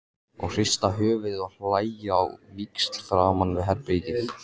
Og hrista höfuðið og hlæja á víxl framan við herbergið.